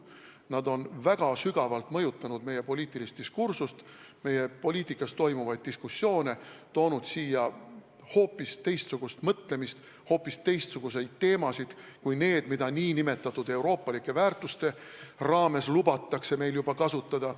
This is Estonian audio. Nad on väga sügavalt mõjutanud meie poliitilist diskursust, meie poliitikas toimuvaid diskussioone, nad on toonud siia hoopis teistsugust mõtlemist, hoopis teistsuguseid teemasid kui need, mida nn euroopalike väärtuste raames meil lubatakse kasutada.